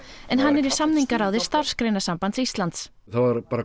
en hann er í Starfsgreinasambands Íslands það var